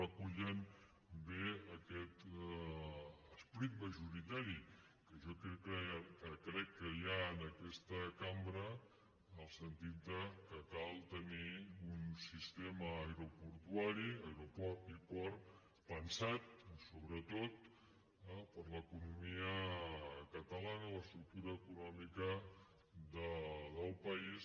recullen bé aquest esperit majoritari que jo crec que hi ha en aquesta cambra en el sentit que cal tenir un sistema aeroportuari aeroport i port pensat sobretot per l’economia catalana l’estructura econòmica del país